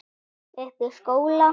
Uppi í skóla?